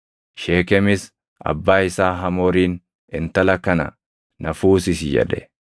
Sheekemis abbaa isaa Hamooriin, “Intala kana na fuusisi” jedhe.